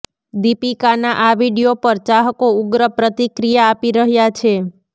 દીપિકાના આ વીડિયો પર ચાહકો ઉગ્ર પ્રતિક્રિયા આપી રહ્યા છે